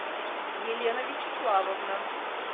елена вячеславовна